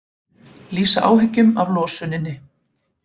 Lýsa áhyggjum af losuninni